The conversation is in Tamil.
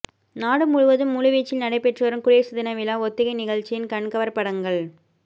நாடு முழுவதும் முழுவீச்சில் நடைபெற்று வரும் குடியரசு தினவிழா ஒத்திகை நிகழ்ச்சியின் கண்கவர் படங்கள்